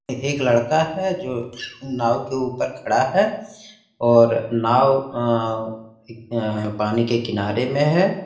एक लड़का है जो नाव के ऊपर खड़ा है और नाव अ ए अ पानी के किनारे में है।